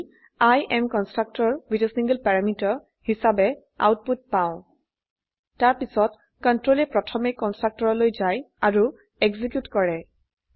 আমৰা I am constructor with a single parameterহিচাবে output পাই তাৰপিছত কন্ট্ৰোলে প্ৰথমে কন্সট্ৰকটৰলৈ যায় আৰু এক্সিকিউট কৰে